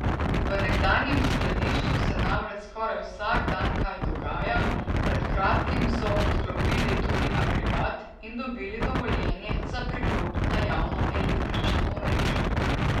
V nekdanjem skladišču se namreč skoraj vsak dan kaj dogaja, pred kratkim so odklopili tudi agregat in dobili dovoljenje za priklop na javno električno omrežje.